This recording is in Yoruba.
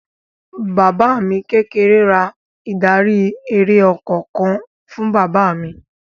Bàbá mi kékeré ra ìdarí-eré ọkọ̀ kan fún bàbá mi.